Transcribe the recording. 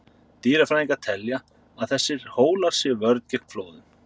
Dýrafræðingar telja að þessir hólar sé vörn gegn flóðum.